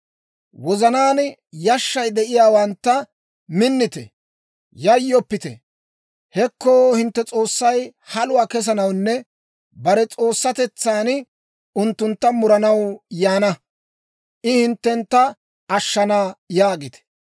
Wozanaan yashshay de'iyaawantta, «Minnite! Yayyoppite! Hekko, hintte S'oossay haluwaa kessanawunne bare s'oossatetsan unttuntta muranaw yaana; I hinttena ashshana» yaagite.